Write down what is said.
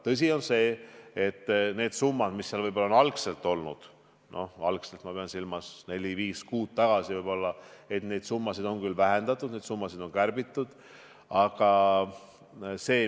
Tõsi on see, et summasid, mis seal algselt olid – ma pean silmas aega – 4 kuud tagasi –, on küll vähendatud, neid summasid on kärbitud.